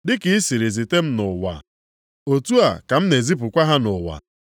Dị ka i siri zite m nʼụwa, otu a ka m na-ezipụkwa ha nʼụwa.